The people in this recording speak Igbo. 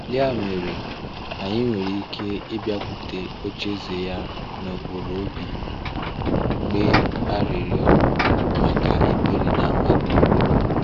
Yà mere, anyị nwere ike ịbịakwute ocheeze Ya n’ụkpụrụ obi, kpee arịrịọ maka ebere na amara.